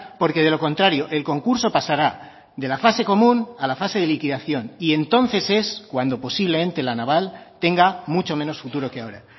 porque de lo contrario el concurso pasará de la fase común a la fase de liquidación y entonces es cuando posiblemente la naval tenga mucho menos futuro que ahora